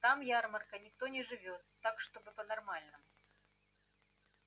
там ярмарка никто не живёт так чтобы по-нормальному